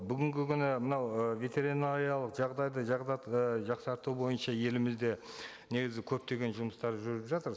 бүгінгі күні мынау ы ветеринариялық жағдайды ы жақсарту бойынша елімізде негізі көптеген жұмыстар жүріп жатыр